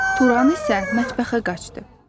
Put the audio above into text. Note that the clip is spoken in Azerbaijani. Turan isə mətbəxə qaçdı.